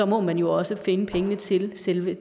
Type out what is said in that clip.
må man jo også finde pengene til selve